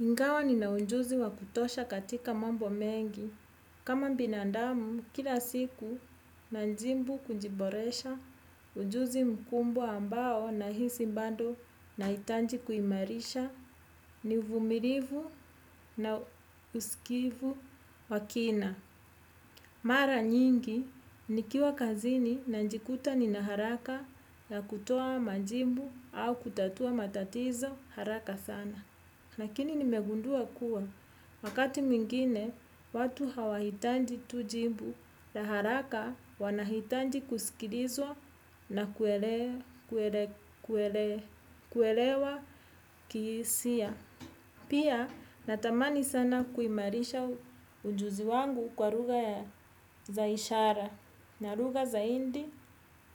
Ingawa nina ujuzi wa kutosha katika mambo mengi. Kama binandamu, kila siku nanjimbu kujiboresha, ujuzi mkubwa ambao nahisi bado nahitaji kuimarisha, ni uvumilivu na usikivu wa kina. Mara nyingi, nikiwa kazini najikuta nina haraka ya kutoa majibu au kutatua matatizo haraka sana. Lakini nimegundua kuwa, wakati mwingine, watu hawahitaji tu jibu, la haraka wanahitaji kusikilizwa na kuelewa kihisia. Pia, natamani sana kuimarisha ujuzi wangu kwa lugha za ishara na lugha zaidi